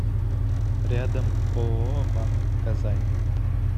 рядом ооо банк казани